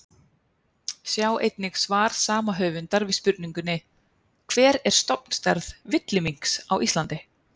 Sjá einnig svar sama höfundar við spurningunni Hver er stofnstærð villiminks á Íslandi?